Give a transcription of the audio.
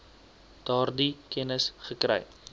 daardie kennis gekry